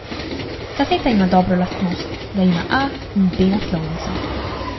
Kaseta ima dobro lastnost, da ima A in B naslovnico.